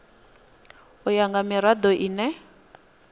u ya nga mirado ine